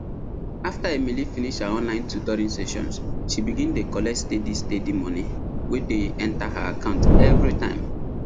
after emily finish her online tutoring sessions she begin dey collect steady steady money wey dey enter her account every time